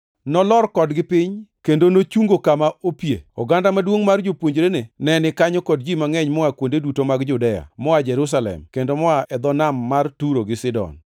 Nolor kodgi piny kendo nochungo kama opie. Oganda maduongʼ mar jopuonjrene ne ni kanyo kod ji mangʼeny moa kuonde duto mag Judea, moa Jerusalem, kendo moa e dho nam mar Turo gi Sidon,